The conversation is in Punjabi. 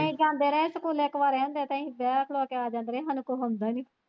ਅਸੀਂ ਜਾਂਦੇ ਰਹੇ ਸਕੂਲੇ ਇੱਕ ਵਾਰੀ ਕਹਿੰਦੇ ਤੇ ਅਸੀਂ ਬਹਿ ਖਲੋਂ ਕੇ ਆ ਜਾਂਦੇ ਰਹੇ ਸਾਨੂੰ ਕੁੱਛ ਆਂਦਾ ਨੀ।